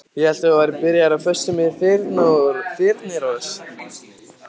Ég hélt að þú værir byrjaður á föstu með Þyrnirós.